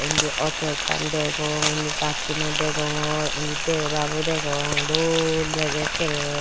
indi ato ekkan degong indi gasuneow degonggor indi debabow dagong doll degey akkerey.